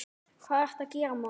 Hvað ertu að gera, maður?